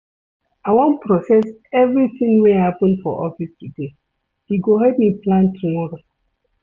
I wan process everytin wey happen for office today, e go help me plan tomorrow.